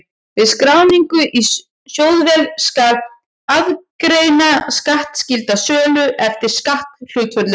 Við skráningu í sjóðvél skal aðgreina skattskylda sölu eftir skatthlutföllum.